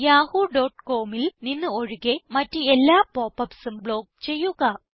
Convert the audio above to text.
yahoocomൽ നിന്ന് ഒഴികെ മറ്റെല്ലാ പോപ്പ് upsഉം ബ്ലോക്ക് ചെയ്യുക